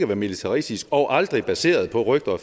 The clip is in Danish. være militaristisk og aldrig baseret på rygter og